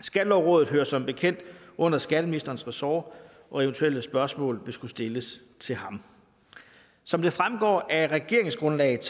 skattelovrådet hører som bekendt under skatteministerens ressort og eventuelle spørgsmål vil skulle stilles til ham som det fremgår af regeringsgrundlaget